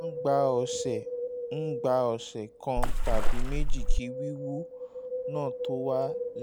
ó máa ń gba ọ̀sẹ̀ ń gba ọ̀sẹ̀ kan tàbí méjì kí wíwú náà tó wálẹ̀